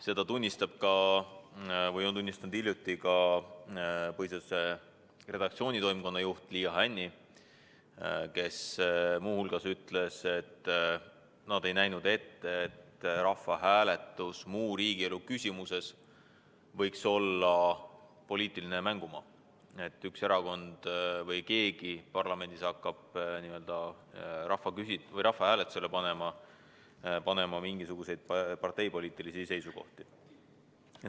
Seda on hiljuti tunnistanud ka Põhiseaduse Assamblee redaktsioonitoimkonna juht Liia Hänni, kes muu hulgas ütles, et nad ei näinud ette, et rahvahääletus muu riigielu küsimuses võiks olla poliitiline mängumaa, kus üks erakond või mõni parlamendiliige hakkab rahvahääletusele panema mingisuguseid parteipoliitilisi seisukohti.